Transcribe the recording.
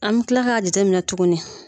An bɛ tila ka jateminɛ tuguni.